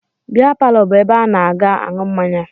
Bịa palọ bụ ebe a na-aga aṅụ mmanya